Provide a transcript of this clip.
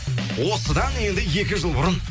осыдан енді екі жыл бұрын